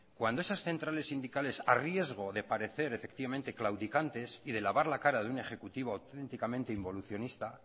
cuando esas centrales sindicales a riesgo de parecer claudicantes y de lavar la cara de un ejecutivo auténticamente involucionista